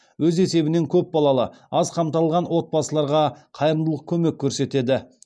өз есебінен көп балалы аз қамталған отбасыларға қайырымдылық көмек көрсетеді